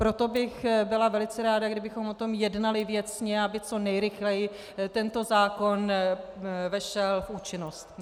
Proto bych byla velice ráda, kdybychom o tom jednali věcně, aby co nejrychleji tento zákon vešel v účinnost.